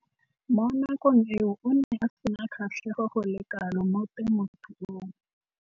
Mo nakong eo o ne a sena kgatlhego go le kalo mo temothuong.